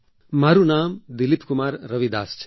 મારું નામ દિલીપ કુમાર રવિદાસ છે